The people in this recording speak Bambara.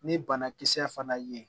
Ni banakisɛ fana ye